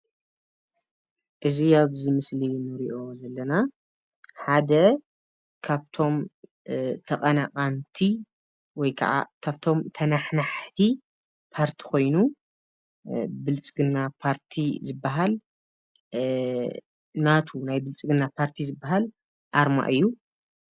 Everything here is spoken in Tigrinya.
እዚ ኣብዚ ምስሊ እንሪኦ ዘለና ሓደ ካብቶም ተቐናቐንቲ ወይ ከዓ ካፍቶም ተናሓናሓቲ ፓርቲ ኮይኑ ብልፅግና ፓርቲ ዝብሃል ናቱ ናይ ብልፅግና ፓርቲ ዝብሃል ኣርማ እዩ።